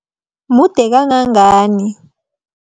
Mude kangangani?